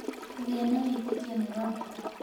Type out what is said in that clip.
Kũgĩa na wĩtĩkio nĩ kwa bata.